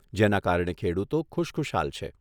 જેના કારણે ખેડૂતો ખુશખુશાલ છે.